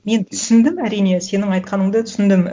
мен түсіндім әрине сенің айтқаныңды түсіндім